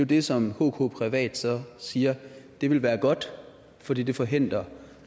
det som hk privat så siger det vil være godt fordi det forhindrer